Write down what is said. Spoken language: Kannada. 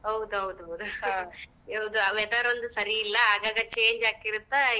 ಹೌದೌದ್ ಹೌದ್ . weather ಒಂದ್ ಸರಿ ಇಲ್ಲಾ,